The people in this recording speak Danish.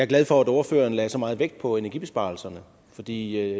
glad for at ordføreren lagde så meget vægt på energibesparelserne for det